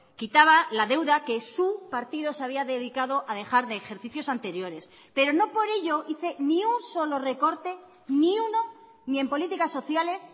quitaba la deuda que su partido se había dedicado a dejar de ejercicios anteriores pero no por ello hice ni un solo recorte ni uno ni en políticas sociales